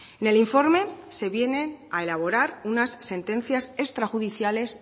en el informe se viene a elaborar unas sentencias extra judiciales